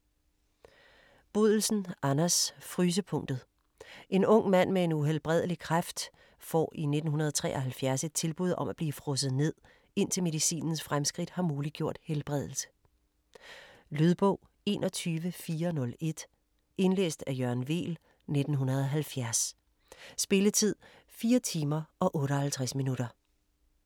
Bodelsen, Anders: Frysepunktet En ung mand med en uhelbredelig kræft får i 1973 et tilbud om at blive frosset ned, indtil medicinens fremskridt har muliggjort helbredelse. Lydbog 21401 Indlæst af Jørgen Weel, 1970. Spilletid: 4 timer, 58 minutter.